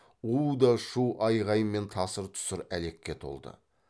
у да шу айғай мен тасыр тұсыр әлекке толды